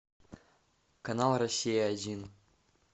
канал россия один